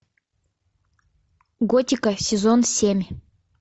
готика сезон семь